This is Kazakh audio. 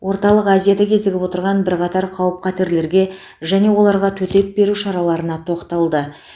орталық азияда кезігіп отырған бірқатар қауіп қатерлерге және оларға төтеп беру шараларына тоқталды